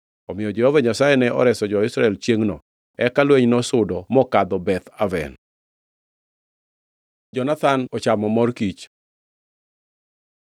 Omiyo Jehova Nyasaye ne oreso jo-Israel chiengʼno, eka lweny nosudo mokadho Beth Aven. Jonathan chamo mor kich